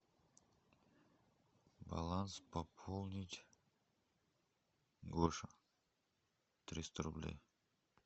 баланс пополнить гоша триста рублей